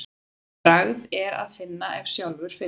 Bragð er að ef sjálfur finnur.